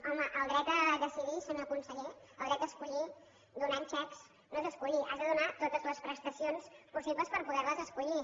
home el dret a decidir senyor conseller el dret a escollir donant xecs no és escollir has de donar totes les prestacions possibles per poder les escollir